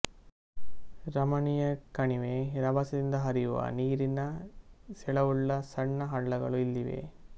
ರಮಣೀಯ ಕಣಿವೆ ರಭಸದಿಂದ ಹರಿಯುವ ನೀರಿನ ಸೆಳವುಳ್ಳ ಸಣ್ಣ ಹಳ್ಳಗಳು ಇಲ್ಲಿವೆ